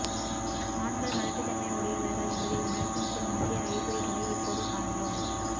ஆண்கள் மலட்டு தன்மை உடையவர்கள் என்பதை உணர்த்தும் சில முக்கிய அறிகுறிகளை இப்போது காண்போம்